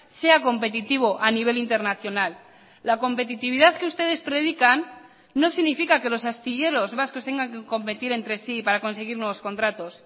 sea competitivo a nivel internacional la competitividad que ustedes predican no significa que los astilleros vascos tengan que competir entre sí para conseguir nuevos contratos